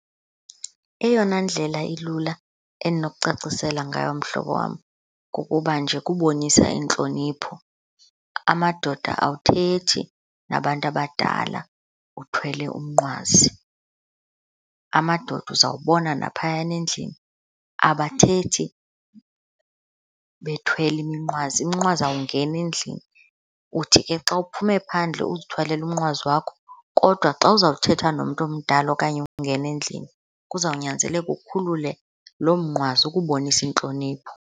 Eyona ndlela ilula endinokucacisela ngayo mhlobo wam kukuba nje kubonisa intlonipho. Amadoda awuthethi nabantu abadala uthwele umnqwazi. Amadoda, uzawubona naphayana endlini, abathethi bethwele iminqwazi. Umnqwazi awungeni endlini. Uthi ke xa uphume phandle uzithwalele umnqwazi wakho kodwa xa uzawuthetha nomntu omdala okanye ungena endlini kuzawunyanzeleka ukhulule loo mnqwazi ukubonisa intlonipho.